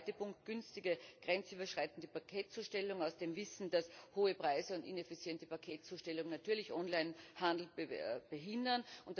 Der zweite Punkt Günstige grenzüberschreitende Paketzustellung aus dem Wissen, dass hohe Preise und ineffiziente Paketzustellung natürlich Onlinehandel behindern.